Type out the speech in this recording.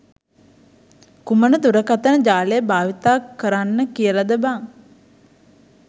කුමන දුරකථන ජාලය භාවිතා කරන්න කියලද බං?